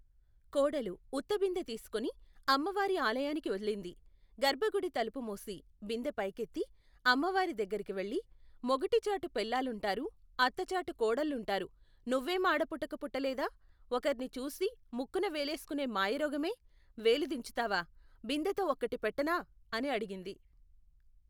కోడలు, ఉత్తబిందె తీసుకుని, అమ్మవారి ఆలయానికి వెళ్ళింది, గర్భగుడి తలుపు మూసి, బిందె పైకెత్తి, అమ్మవారి దగ్గరికి వెళ్ళి, మొగుటిచాటు పెళ్ళాలుంటారు, అత్తచాటు కోడళ్లుంటారు, నువ్వేం ఆడపుట్టక పుట్టలేదా, ఒకర్ని చూసి, ముక్కున వేలేసుకునే మాయరోగమే, వేలు దించుతావా, బిందెతో ఒక్కటి పెట్టనా, అని అడిగింది.